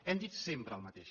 hem dit sempre el mateix